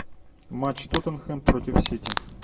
матч тоттенхэм против сити